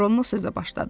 Ronno sözə başladı.